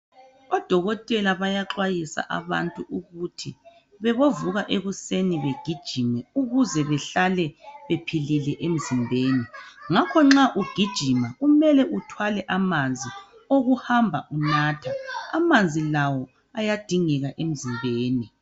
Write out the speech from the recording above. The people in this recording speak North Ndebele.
Odokotela bayaxwayisa abantu ukuthi babovuka ekuseni bagijime ukuze bahlale bephilile emzimbeni. Ngakho nxa ugijima kumele uthwale amanzi okuhamba unatha. Amanzi lawo ayadingeka emzimbeni.